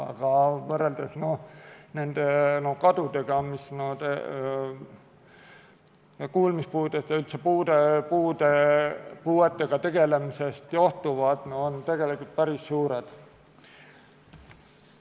Aga kui võrrelda nende kadudega, mis kuulmispuudest ja üldse puuetest johtuvad, siis need on tegelikult päris suured.